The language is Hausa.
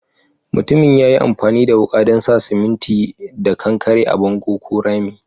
Mutumin ya yi amfani da wuka dan sa siminti da kankare a'bongo ko rami.